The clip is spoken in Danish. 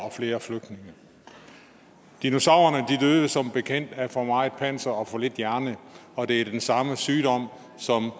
og flere flygtninge dinosaurerne døde som bekendt af for meget panser og for lidt hjerne og det er den samme sygdom som